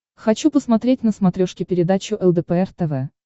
хочу посмотреть на смотрешке передачу лдпр тв